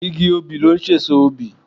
Igi obì ló n sèso obì